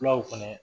Fulaw fɛnɛ